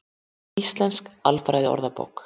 Íslensk alfræðiorðabók.